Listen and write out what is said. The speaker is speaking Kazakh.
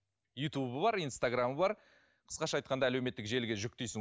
ютубы бар инстаграмы бар қысқаша айтқанда әлеуметтік желіге жүктейсің